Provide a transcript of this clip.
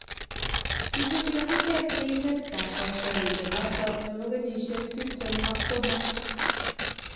Isubi akichek Leicester kotioriendenoto nebo kenyisiek tiptem ak somok